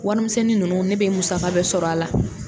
Wari misɛnnin ninnu, ne bɛ musaga bɛɛ sɔrɔ a la.